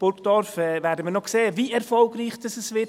Bei Burgdorf werden wir noch sehen, wie erfolgreich das wird.